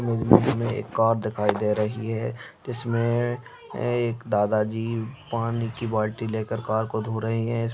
इस इमेज में एक कार दिखाई दे रही है जिसमें एक दादाजी पानी कि बाल्टी लेकल कार को धो रहे हैं इस --